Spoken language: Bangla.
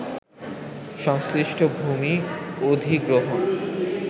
সংশ্লিষ্ট ভূমি অধিগ্রহণ